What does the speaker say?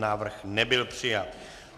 Návrh nebyl přijat.